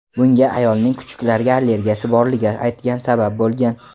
Bunga ayolning kuchuklarga allergiyasi borligini aytgani sabab bo‘lgan.